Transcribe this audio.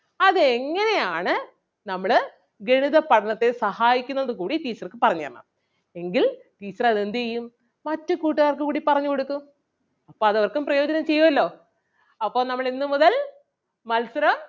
അതെങ്ങനെയാണ് നമ്മളെ ഗണിത പഠനത്തിൽ സഹായിക്കുന്നത് എന്നുകൂടി teacher ക്ക് പറഞ്ഞുതരണം. എങ്കിൽ teacher അത് എന്ത് ചെയ്യും മറ്റു കൂട്ടുകാർക്കും കൂടി പറഞ്ഞു കൊടുക്കും. അപ്പൊ അത് അവർക്കും പ്രയോജനം ചെയ്യുവല്ലോ. അപ്പൊ നമ്മൾ ഇന്ന് മുതൽ മത്സരം